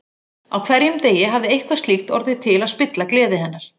Á hverjum degi hafði eitthvað slíkt orðið til að spilla gleði hennar.